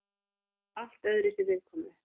Allt öðruvísi viðkomu.